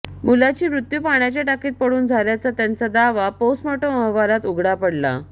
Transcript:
मुलाची मृत्यू पाण्याच्या टाकीत पडून झाल्याचा त्याचा दावा पोस्टमॉर्टम अहवालात उघडा पडला